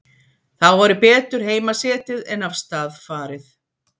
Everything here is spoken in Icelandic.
Þá væri betur heima setið en af stað farið.